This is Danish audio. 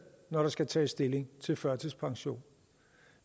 når der skal tages stilling til førtidspension